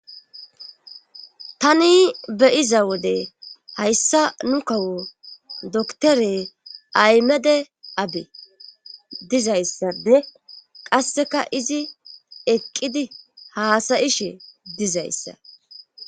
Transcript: tani beyiza wode hayssa nu kawo doktore aymede abe dizayssappe qasseka izi eqqidi haasayishe dizayssa